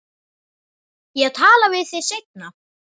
Ég tala við þig seinna.